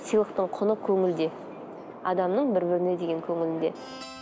сыйлықтың құны көңілде адамның бір біріне деген көңілінде